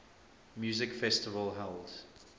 music festival held